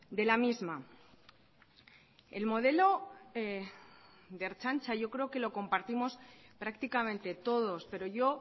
de la misma el modelo de ertzaintza yo creo que lo compartimos prácticamente todos pero yo